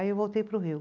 Aí eu voltei para o Rio.